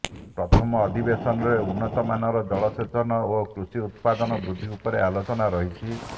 ପ୍ରଥମ ଅଧିବେଶନରେ ଉନ୍ନତମାନର ଜଳସେଚନ ଓ କୃଷି ଉତ୍ପାଦନ ବୃଦ୍ଧି ଉପରେ ଆଲୋଚନା ରହିଛି